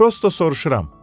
Prosto soruşuram.